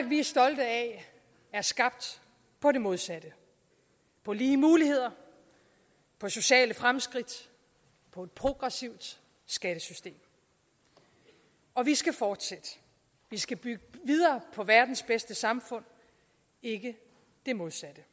vi er stolte af er skabt på det modsatte på lige muligheder på sociale fremskridt på et progressivt skattesystem og vi skal fortsætte vi skal bygge videre på verdens bedste samfund ikke det modsatte